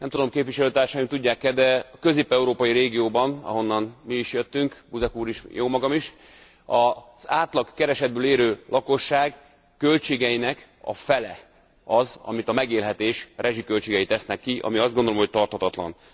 Nem tudom, képviselőtársaim tudják e, de a közép európai régióban, ahonnan mi is jöttünk, Buzek úr is, jómagam is, az átlagkeresetből élő lakosság költségeinek a fele az, amit a megélhetés rezsiköltségei tesznek ki, ami azt gondolom, hogy tarthatatlan.